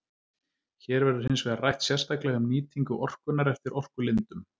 Hér verður hins vegar rætt sérstaklega um nýtingu orkunnar eftir orkulindum.